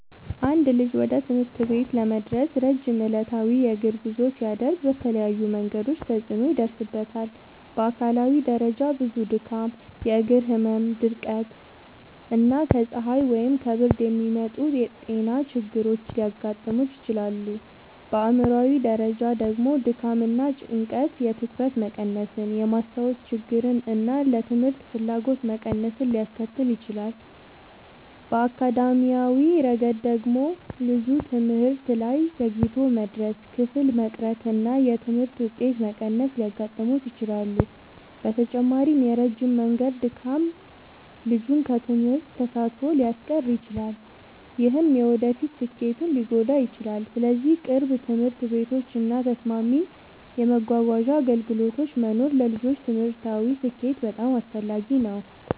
አንድ ልጅ ወደ ትምህርት ቤት ለመድረስ ረጅም ዕለታዊ የእግር ጉዞ ሲያደርግ በተለያዩ መንገዶች ተጽዕኖ ይደርስበታል። በአካላዊ ደረጃ ብዙ ድካም፣ የእግር ህመም፣ ድርቀት እና ከፀሐይ ወይም ከብርድ የሚመጡ ጤና ችግሮች ሊያጋጥሙት ይችላሉ። በአእምሯዊ ደረጃ ደግሞ ድካም እና ጭንቀት የትኩረት መቀነስን፣ የማስታወስ ችግርን እና ለትምህርት ፍላጎት መቀነስን ሊያስከትል ይችላል። በአካዳሚያዊ ረገድ ደግሞ ልጁ ትምህርት ላይ ዘግይቶ መድረስ፣ ክፍል መቅረት እና የትምህርት ውጤት መቀነስ ሊያጋጥሙት ይችላሉ። በተጨማሪም የረጅም መንገድ ድካም ልጁን ከትምህርት ተሳትፎ ሊያስቀር ይችላል፣ ይህም የወደፊት ስኬቱን ሊጎዳ ይችላል። ስለዚህ ቅርብ ትምህርት ቤቶች እና ተስማሚ የመጓጓዣ አገልግሎቶች መኖር ለልጆች ትምህርታዊ ስኬት በጣም አስፈላጊ ነው።